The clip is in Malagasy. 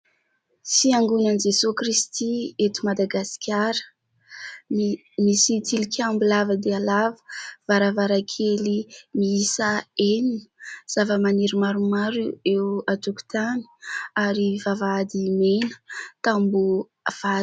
Fiangonan'i Jesosy Kristy eto Madagasikara misy tilikambo lava dia lava varavarakely miisa enina zava-maniry maromaro eo an-tokotany ary vavahady mena, tamboho vato.